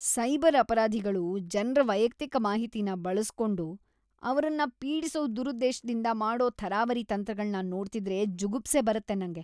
Cyber ಅಪರಾಧಿಗಳು ಜನ್ರ ವೈಯಕ್ತಿಕ ಮಾಹಿತಿನ ಬಳಸ್ಕೊಂಡು ಅವ್ರನ್ನ ಪೀಡಿಸೋ ದುರುದ್ದೇಶದಿಂದ ಮಾಡೋ ಥರಾವರಿ ತಂತ್ರಗಳ್ನ ನೋಡ್ತಿದ್ರೆ ಜುಗುಪ್ಸೆ ಬರತ್ತೆ ನಂಗೆ.